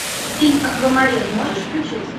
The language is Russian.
фильм аквамарин можешь включить